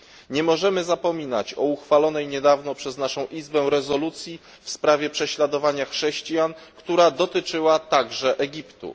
Nie możemy zapominać o uchwalonej niedawno przez naszą Izbę rezolucji w sprawie prześladowania chrześcijan, która dotyczyła także Egiptu.